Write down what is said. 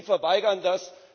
Und Sie verweigern das.